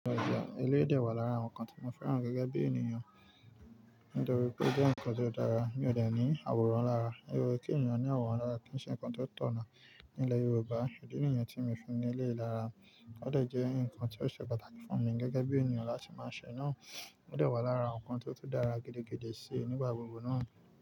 Ele yii de wà lára àwọn nǹkan tí mo fẹ́ràn gẹ́gẹ́ bí ènìyàn, nítorí pé ó jẹ́ nǹkan ti ó dára, mi ò dẹ̀ ní àwòrán lára. O ye kí ènìyàn ní àwòrán lára, kì ń ṣe nǹkan ti ó tọ̀nà. Nílẹ̀ Yorùbá, ìdí nìyen tí mi o fi ní ele yii lara, ó dẹ̀ jẹ́ nǹkan tí ó ṣe pàtàkì fún mi gẹ́gẹ́ bí ènìyàn láti máa ṣe náà, ó dẹ̀ wà lára awon nǹkan ti ó tun dára gidigidi síi nígbà gbogbo náà.